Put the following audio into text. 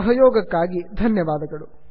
ಸಹಯೊಗಕ್ಕಾಗಿ ಧನ್ಯವಾದಗಳು